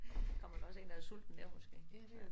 Kommer der også én der sulten der måske